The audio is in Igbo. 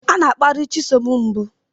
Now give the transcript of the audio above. Chisom a na-akparị ya mbụ